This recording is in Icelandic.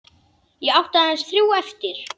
Ég átti aðeins þrjú eftir.